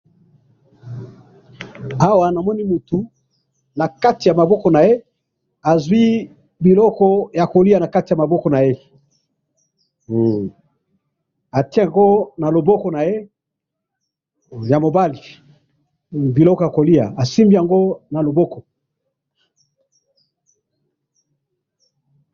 Awa namoni mutu, nakati yamaboko naye azwi biloko yakolya nakati yamaboko naye, hum! atye yango naloboko naye yamobali, hum! Biloko yakoliya, asimbi yango naloboko.